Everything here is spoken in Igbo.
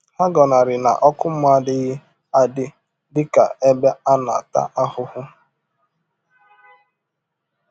Ha gọnarị na ọkụ mmụọ adịghị adị dị ka ebe a na-ata ahụhụ.